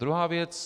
Druhá věc.